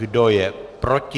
Kdo je proti?